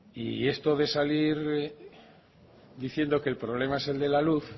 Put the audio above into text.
y esto de salir diciendo que el problema es el de la luz